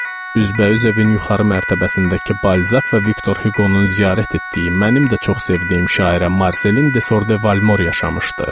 Üzbəüz evin yuxarı mərtəbəsindəki Balzaq və Viktor Hüqonun ziyarət etdiyi, mənim də çox sevdiyim şairə Marselin DeSordre Valmor yaşamışdı.